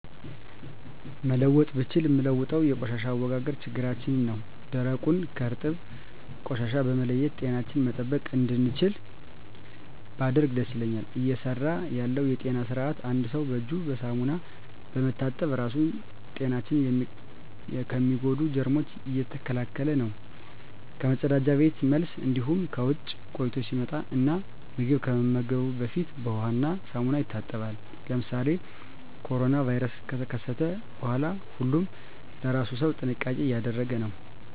መለወጥ ብችል ምለውጠው የቆሻሻ አወጋገድ ችግራችን ነው ደረቁን ከእርጥብ ቆሻሻ በመለየት ጤናችንን መጠበቅ እንድችል ባደርግ ደስ ይለኛል። እየሰራ ያለው የጤና ስርአት አንድ ሰው እጁን በሳሙና በመታጠብ ራሱን ጤናችን ከሚጎዱ ጀርሞች እየተከላከለ ነው ከመፀዳጃ ቤት መልስ እንዲሁም ከውጭ ቆይቶ ሲመጣ እና ምግብ ከመመገቡ በፊት በውሃ እና ሳሙና ይታጠባል። ለምሳሌ ኮሮና ቫይረስ ከተከሰተ በኋላ ሁሉም ለእራሱ ሰው ጥንቃቄ እያደረገ ነው።